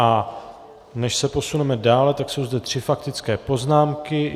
A než se posuneme dále, tak jsou zde tři faktické poznámky.